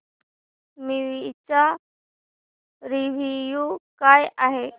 movie चा review काय आहे